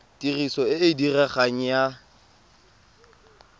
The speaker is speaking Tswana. tiriso e e diregang ya